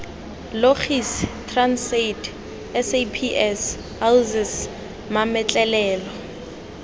logis transaid saps oasis mametlelelo